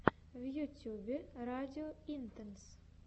в ютьюбе радио интенс